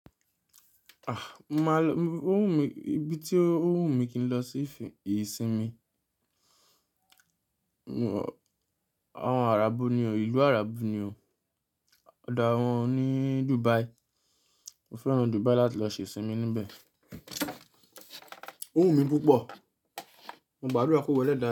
A! Máa lọ, ó wù mí, ibi tí ó wù mí kí n lọ sí ìsinmi, àwọn arábu ni o, ìlú arábu ni o. Ọ̀dà awọn ni Dubai. Mo fẹ́ràn Dubai láti lọ ṣe ìsinmi níbẹ̀. Ó wù mí púpọ̀, mo gbàdúrà kó wẹ́lẹ́ dá.